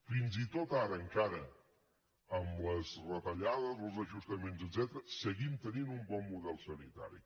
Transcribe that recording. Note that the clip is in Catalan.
fins i tot ara encara amb les retallades els ajustaments etcètera seguim tenint un bon model sanitari